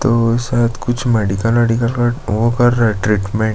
तो शायद कुछ मेडिकल ऑडिकल का वो कर रहै हैं ट्रीटमेंट --